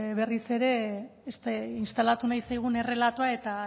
berriz ere instalatu nahi zaigun errelatoa eta